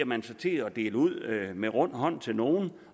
man sig til at dele ud med rund hånd til nogle